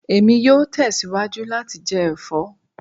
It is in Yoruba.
Emi yoo tẹsiwaju lati jẹ ẹfọ